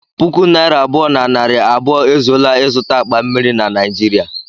Puku naira abụọ na narị abụọ ezuola ịzụta akpa mmiri na Naịjirịa